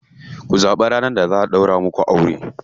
Ku zaɓi ranar da za a ɗaura muku aure.